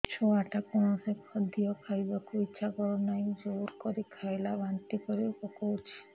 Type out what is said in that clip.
ଛୁଆ ଟା କୌଣସି ଖଦୀୟ ଖାଇବାକୁ ଈଛା କରୁନାହିଁ ଜୋର କରି ଖାଇଲା ବାନ୍ତି କରି ପକଉଛି